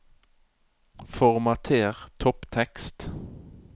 Formater topptekst